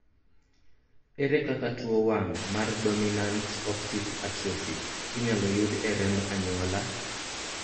ere kaka tuo wang' mar dominant optic atrophy inyalo yud e remb anyuola?